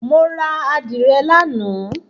Mo ra Àdìrẹ lánàá.